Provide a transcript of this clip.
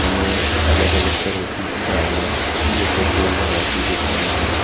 हमें अलग अलग तरह की गाड़ियां जो पेट्रोल भरवाती दिख रही है।